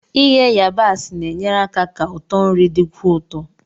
Ighe yabaasi na-enyere aka ka ụtọ nri dịkwuo ụtọ.